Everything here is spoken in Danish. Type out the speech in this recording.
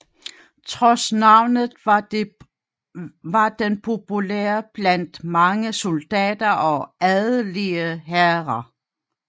Trods navnet var den populær blandt mange soldater og adelige herrer